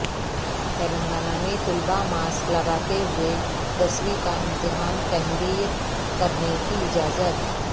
تلنگانہ میں طلبہ ماسک لگاتے ہوئے دسویں کا امتحان تحریر کرنے کی اجازت